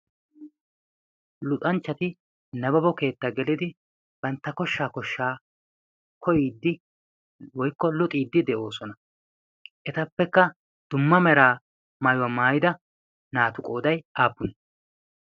luxanchchati nababo keettaa gelidi bantta koshshaa koshshaa koyiiddi woikko luxiiddi de'oosona. etappekka dumma meraa maayuwaa maayida naatu qooday aapun